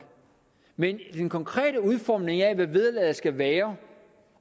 men den konkrete udformning af hvad vederlaget skal være